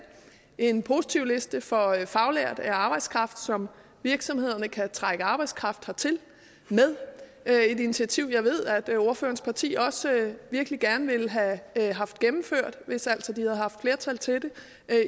en positivliste for faglært arbejdskraft som virksomhederne kan trække arbejdskraft hertil med det er et initiativ jeg ved at ordførerens parti også virkelig gerne ville have haft gennemført hvis altså de havde haft flertal til det